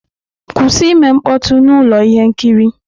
Kwụsị ime mkpọtụ na ụlọ ihe nkiri!